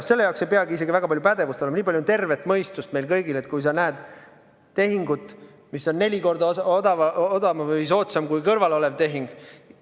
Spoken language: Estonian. Ja selle jaoks ei peagi väga palju pädevust olema, nii palju on tervet mõistust meil kõigil, kui me näeme tehingut, mis on neli korda odavam või soodsam kui kõrval olev tehing.